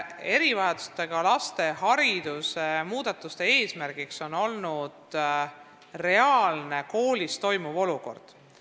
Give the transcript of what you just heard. Erivajadustega laste haridust puudutavate muudatuste ajendiks oli koolis toimuv tegelik olukord.